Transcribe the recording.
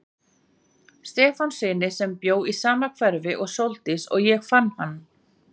Stefánssyni sem bjó í sama hverfi og Sóldís og ég fann hann.